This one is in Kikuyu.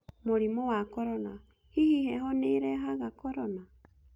Mũrimũ wa korona; hihi heho nĩĩrehaga korona